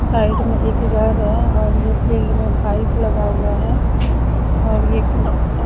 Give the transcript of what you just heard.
side में एक घर है और ये फील्ड में पाईप लगा हुआ है और ये अ --